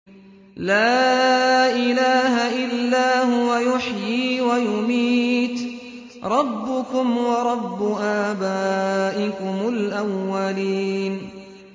لَا إِلَٰهَ إِلَّا هُوَ يُحْيِي وَيُمِيتُ ۖ رَبُّكُمْ وَرَبُّ آبَائِكُمُ الْأَوَّلِينَ